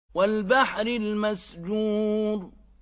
وَالْبَحْرِ الْمَسْجُورِ